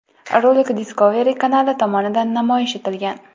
Rolik Discovery kanali tomonidan namoyish etilgan.